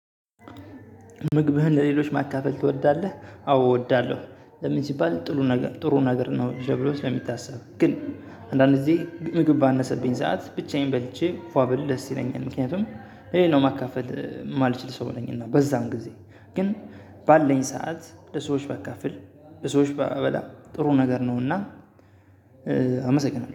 ምግብህን ለሌሎች ማካፈል ትወዳለህ? አዎ እወዳለሁ። ለምን ሲባል ጥሩ ነገር ጥሩ ነገር ነው። ተብሎ ለሚታሰብ ግን አንዳንድ ጊዜ ምግብ ባነሰብኝ ሰዓት ብቻዬን በልቼ ፏብል ደስ ይለኛል። ምክንያቱም የሌለው ማካፈል የማልችል ሰው ነኝና በዛም ጊዜ። ግን ባለኝ ሰዓት ለሰዎች በአካል ለሰዎች በአበላ ጥሩ ነገር ነውና። አመሰግናለሁ